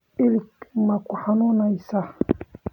Ilig ma ku xanuunaysaa?